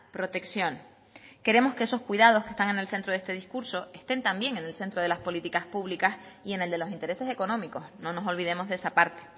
protección queremos que esos cuidados que están en el centro de este discurso estén también en el centro de las políticas públicas y en el de los intereses económicos no nos olvidemos de esa parte